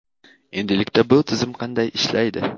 Endilikda bu tizim qanday ishlaydi?.